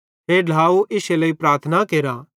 हे ढ्लाव इश्शे लेइ प्रार्थना केरा